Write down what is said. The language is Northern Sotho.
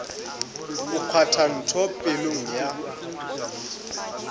o kgwatha ntho pelong ya